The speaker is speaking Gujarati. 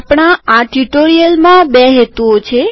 આપણા આ ટ્યુટોરીઅલમાં બે હેતુઓ છે